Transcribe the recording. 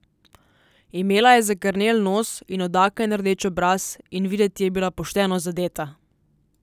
Imela je zakrnel nos in od aken rdeč obraz in videti je bila pošteno zadeta.